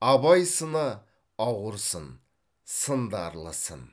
абай сыны ауыр сын сындарлы сын